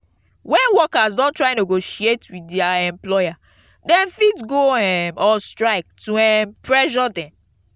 when workers don try negotiate with their employer dem fit go um on strike to um pressure dem